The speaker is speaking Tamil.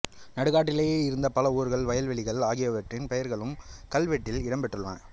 நாடுகாட்டிலே இருந்த பல ஊர்கள் வயல்வெளிகள் ஆகியவற்றின் பெயர்களும் கல்வெட்டில் இடம் பெற்றுள்ளன